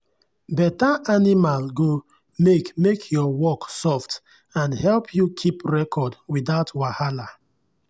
better animal go make make your work soft and help you keep record without wahala.